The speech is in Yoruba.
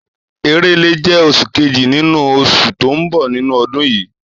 Èrèlé jẹ́ oṣù kejì nínú oṣù tó ń bẹ nínú ọdún.